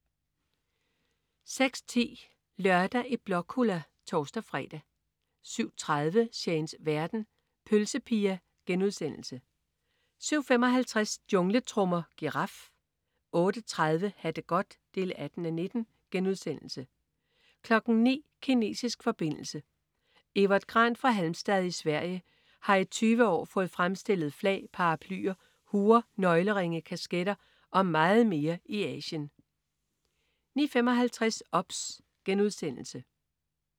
06.10 Lørdag i Blåkulla (tors-fre) 07.30 Shanes verden. Pølse Pia* 07.55 Jungletrommer. Giraf 08.30 Ha' det godt 18:19* 09.00 Kinesisk forbindelse. Evert Grahn fra Halmstad i Sverige har i 20 år fået fremstillet flag, paraplyer, huer, nøgleringe, kasketter og meget mere i Asien 09.55 OBS*